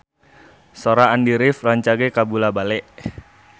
Sora Andy rif rancage kabula-bale